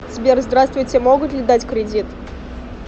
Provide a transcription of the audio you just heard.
сбер здравствуйте могут ли дать кредит